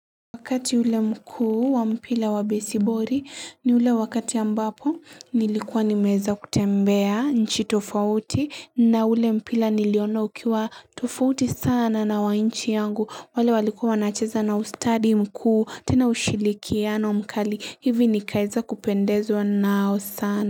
Wakati ule mkuu wa mpila wa besibori ni ule wakati ambapo nilikuwa nimeeza kutembea nchi tofauti na ule mpila niliona ukiwa tofauti sana na wa nchi yangu wale walikuwa wanacheza na ustadi mkuu tena ushilikiano mkali hivi nikaeza kupendezwa nao sana.